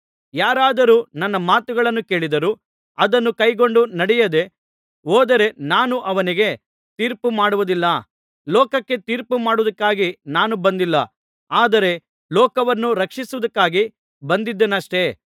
ಯಾರಾದರೂ ನನ್ನ ಮಾತುಗಳನ್ನು ಕೇಳಿದರೂ ಅದನ್ನು ಕೈಕೊಂಡು ನಡೆಯದೆ ಹೋದರೆ ನಾನು ಅವನಿಗೆ ತೀರ್ಪುಮಾಡುವುದಿಲ್ಲ ಲೋಕಕ್ಕೆ ತೀರ್ಪುಮಾಡುವುದಕ್ಕಾಗಿ ನಾನು ಬಂದಿಲ್ಲ ಆದರೆ ಲೋಕವನ್ನು ರಕ್ಷಿಸುವುದಕ್ಕಾಗಿ ಬಂದಿದ್ದೇನಷ್ಟೇ